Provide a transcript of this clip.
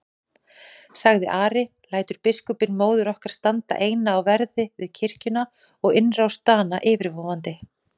sagði Ari,-lætur biskupinn móður okkar standa eina á verði við kirkjuna og innrás Dana yfirvofandi?